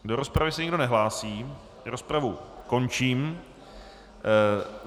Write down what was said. Do rozpravy se nikdo nehlásí, rozpravu končím.